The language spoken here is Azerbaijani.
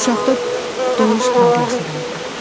Uşaqda doğuş travması vardı.